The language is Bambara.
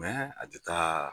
a ti taa